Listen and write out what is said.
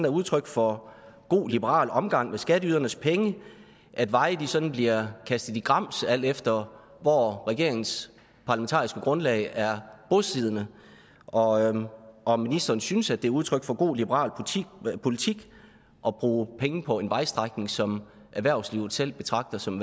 udtryk for god liberal omgang med skatteydernes penge at veje sådan bliver kastet i grams alt efter hvor regeringens parlamentariske grundlag er bosiddende og om ministeren synes at det er udtryk for god liberal politik at bruge penge på en vejstrækning som erhvervslivet selv betragter som